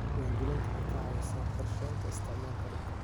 Diiwaangelintu waxay ka caawisaa qorshaynta isticmaalka dhulka.